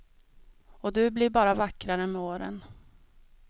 Och du blir bara vackrare med åren.